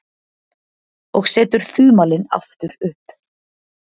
Og setur þumalinn aftur upp.